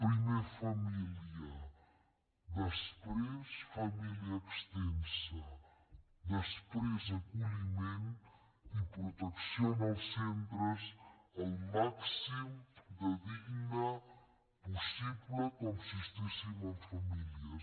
primer família després família extensa després acolliment i protecció en els centres al màxim de dignes possible com si estiguessin en famílies